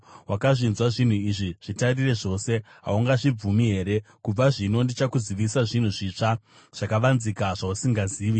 Wakazvinzwa zvinhu izvi; zvitarire zvose. Haungazvibvumi here? “Kubva zvino ndichakuzivisa zvinhu zvitsva, zvakavanzika zvausingazivi.